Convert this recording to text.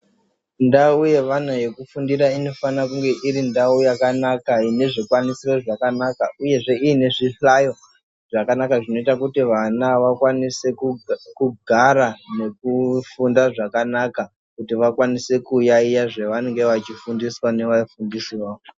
Ndau yevana yekufundira inofanira kunge irindau yakanaka ine zvikwanisiro zvakanaka uye zve iine zvihlayo zvakanaka zvinoita kuti vana vakwanise kugara nekufunda zvakanaka kuti vakwanise kuyayiya zvavanenge vachifudziswa nevafundisi vavo.